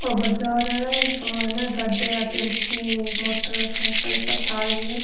ओ बाजार है इक मायने गाड़िया टेम्पू मोटर साइकल सब चाल रही है।